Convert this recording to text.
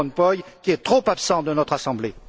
Van Rompuy, qui est trop absent de notre assemblée.